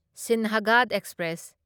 Sinhagad express